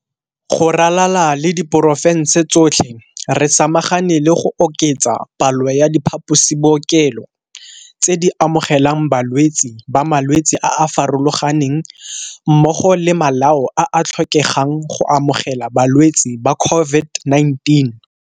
Go ralala le diporofense tsotlhe, re samagane le go oketsa palo ya diphaposibookelo tse di amogelang balwetse ba malwetse a a farologaneng mmogo le malao a a tlhokegang go amogela balwetse ba COVID-19.